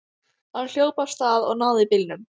Hann hljóp af stað og náði bílnum.